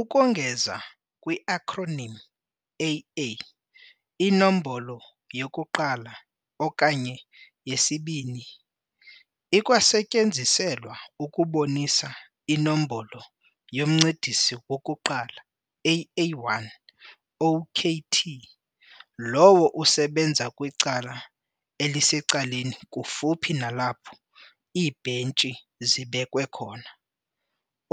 Ukongeza kwi-acronym "AA", inombolo ye -1 okanye i-2 ikwasetyenziselwa ukubonisa iNombolo yoMncedisi 1, "AA1," okt lowo usebenza kwicala elisecaleni kufuphi nalapho iibhentshi zibekwe khona,